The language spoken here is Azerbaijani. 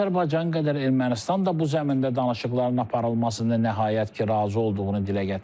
Azərbaycan qədər Ermənistan da bu zəmində danışıqların aparılmasına nəhayət ki, razı olduğunu dilə gətirir.